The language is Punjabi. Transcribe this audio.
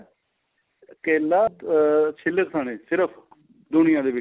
ਕੇਲਾ ਅਹ ਛਿੱਲੜ ਸਣੇ ਸਿਰਫ਼ ਦੁਨੀਆਂ ਦੇ ਵਿੱਚ